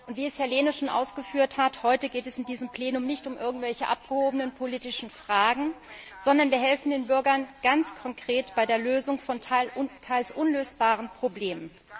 Wie Herr Lehne schon ausgeführt hat, geht es heute in diesem Plenum nicht um irgendwelche abgehobenen politischen Fragen, sondern wir helfen den Bürgern ganz konkret bei der Lösung von teils unlösbaren Problemen.